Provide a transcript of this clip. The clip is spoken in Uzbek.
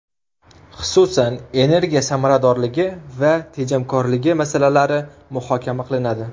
Xususan, energiya samaradorligi va tejamkorligi masalalari muhokama qilinadi.